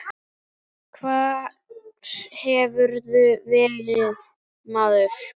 Hvar hefurðu verið, maður?